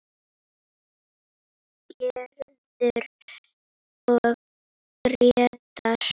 Gerður og Grétar.